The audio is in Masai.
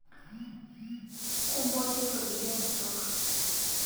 Kumpotuto idia kitok